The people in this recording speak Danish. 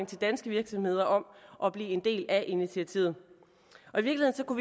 til danske virksomheder om at blive en del af initiativet